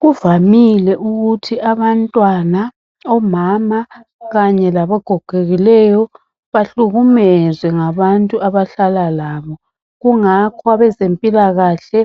Kuvamile ukuthi abantwana, omama kanye labagogekileyo bahlukumezwe ngabantu abahlala labo kungakho abezempilakahle